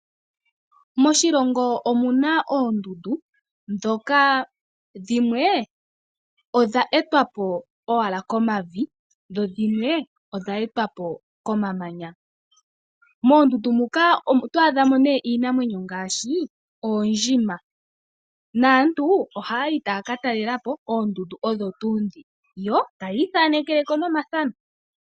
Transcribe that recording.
Moshilongo omuna oondundu ndhoka dhimwe odha etwa po owala komavi dho dhimwe odha etwa po komamanya. Moondundu muka oto adha mo nee iinamwenyo ngaashi oondjima, naantu ohaayi taya ka talelepo oondundu odho tuu ndhi yo tayi ithanekele ko nomafano.